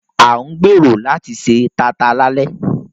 À ń gbèrò láti se taata lálẹ́